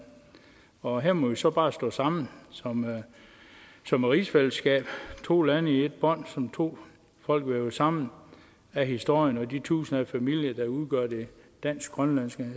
og her må vi så bare stå sammen som som rigsfællesskab to lande vævet sammen i et bånd to folk vævet sammen af historien og de tusinder af familier der udgør det dansk grønlandske